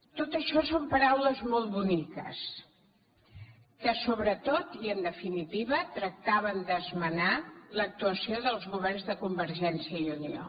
tot això són paraules molt boniques que sobretot i en definitiva tractaven d’esmenar l’actuació dels governs de convergència i unió